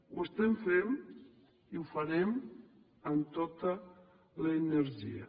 ho estem fent i ho farem amb tota l’energia